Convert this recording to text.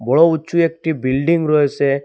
বড়ো উঁচু একটি বিল্ডিং রয়েছে।